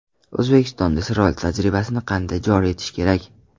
O‘zbekistonda Isroil tajribasini qanday joriy etish kerak?